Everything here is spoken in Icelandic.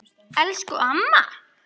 Elsku amma!